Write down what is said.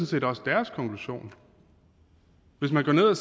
set også deres konklusion hvis man går ned og